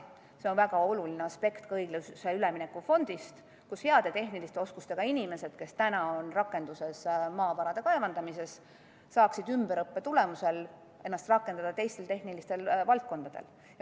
See on väga oluline aspekt ka õiglase ülemineku fondis, et heade tehniliste oskustega inimesed, kes täna tegelevad maavarade kaevandamisega, saaksid ümberõppe tulemusel ennast rakendada teistes tehnilistes valdkondades.